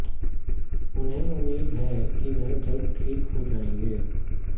उन्हें उम्मीद है कि वह जल्द ठीक हो जायेंगे